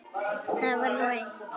Það var nú eitt.